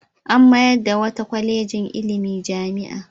An mayar da wata kwalejin ilimi jami'a.